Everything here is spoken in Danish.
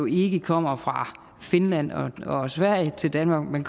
ikke kommer fra finland og sverige til danmark men